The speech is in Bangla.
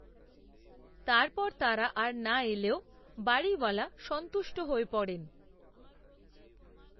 তার পর, তারা আর নাএলেও, বাড়িওলা, সন্তুষ্ট হয়ে পড়েন